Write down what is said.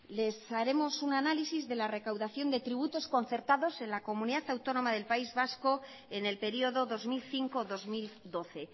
les haremos un análisis de la recaudación de tributos concertados en la comunidad autónoma del país vasco en el periodo dos mil cinco dos mil doce